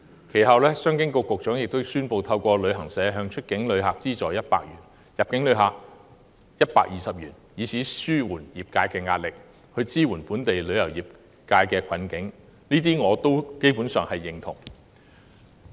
其後，商務及經濟發展局局長亦宣布透過旅行社向出境旅客資助100元及入境旅客120元，以紓緩業界壓力，協助本地旅遊業走出困境，而我基本上對這些措施表示贊同。